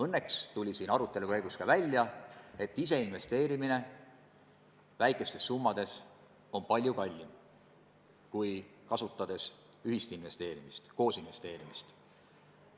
Õnneks tuli siin arutelu käigus välja, et ise väikeste summade investeerimine on palju kallim, kui kasutades ühist investeerimist, koos investeerimist.